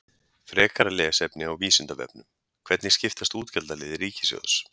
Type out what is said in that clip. Frekara lesefni á Vísindavefnum: Hvernig skiptast útgjaldaliðir ríkissjóðs?